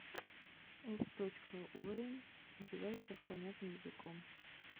эф точка йуэй одевайсах понятным языком